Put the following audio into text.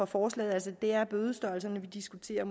forslaget altså det er bødestørrelserne vi diskuterer